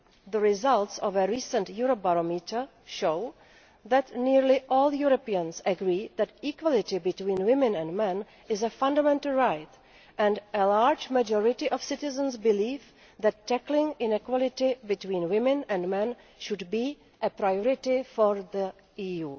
The results of a recent Eurobarometer show that nearly all Europeans agree that equality between women and men is a fundamental right, and a large majority of citizens believe that tackling inequality between women and men should be a priority for the EU.